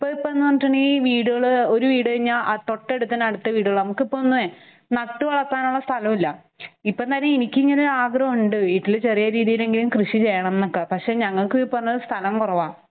ഇപ്പയിപ്പ പഞ്ഞിട്ടുങ്കി വീടുകള് ഒരു വീട് കഴിഞ്ഞാൽ തൊട്ടടുത്ത് അടുത്ത വീടുകളാ നമുക്കിപ്പ ഒന്ന് നട്ടുവളർത്താനുള്ള സ്ഥലഇല്ല. ഇപ്പം തന്നീ എനിക്കിങ്ങനെ ആഗ്രഹഉണ്ട് വീട്ടില് ചെറിയ രീതിയിലെങ്കിലും കൃഷി ചെയ്യണംന്നൊക്കെ. പക്ഷെ ഞങ്ങൾക്കും ഈ പറഞ്ഞപോലെ സ്ഥലം കുറവാ.